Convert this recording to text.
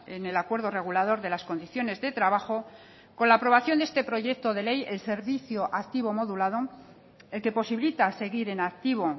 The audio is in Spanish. en el acuerdo regulador de las condiciones de trabajo con la aprobación de este proyecto de ley el servicio activo modulado el que posibilita seguir en activo